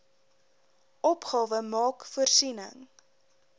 opgawe maak voorsiening